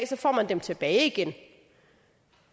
så får man dem tilbage igen